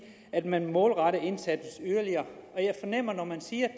at man må målrette indsatsen yderligere og jeg fornemmer at når man siger